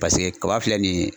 kaba filɛ nin ye